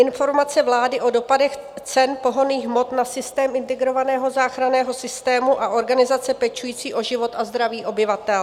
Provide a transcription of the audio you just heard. Informaci vlády o dopadech cen pohonných hmot na systém integrovaného záchranného systému a organizace pečující o život a zdraví obyvatel.